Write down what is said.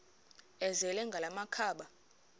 azele ngala makhaba